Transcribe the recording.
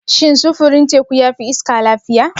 Shin sufurin teku ya fi iska lafiya?